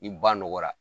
Ni ba nɔgɔyara